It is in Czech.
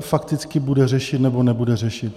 fakticky bude řešit nebo nebude řešit.